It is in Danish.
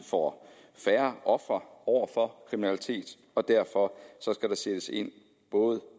får færre ofre for kriminalitet og derfor skal der sættes ind både